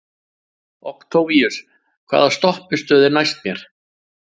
Októvíus, hvaða stoppistöð er næst mér?